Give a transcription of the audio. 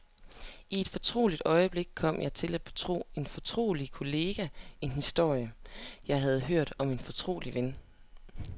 I et fortroligt øjeblik kom jeg til at betro en fortrolig kollega en historie, jeg havde hørt om en fortrolig ven.